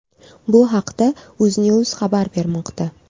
Bu haqda UzNews xabar bermoqda.